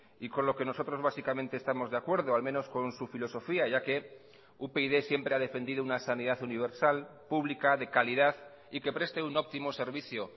y con lo que nosotros básicamente estamos de acuerdo al menos con su filosofía ya que upyd siempre ha defendido una sanidad universal pública de calidad y que preste un óptimo servicio